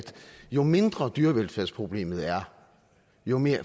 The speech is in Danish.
jo mindre dyrevelfærdsproblemet er jo mere